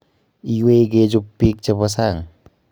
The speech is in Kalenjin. Iwei kechub biik chebo sang